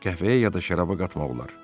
Qəhvəyə ya da şəraba qatmaq olar.